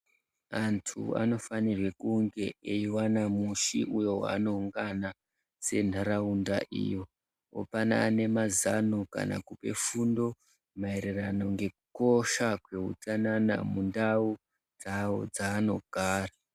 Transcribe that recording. Antu anofanirwe kunge eiwana musi uyo waanoungana senharaunda iyo. Opanane mazano kana kupe fundo maererano ngekukosha kweutsanana mundau dzawo dzaanogara.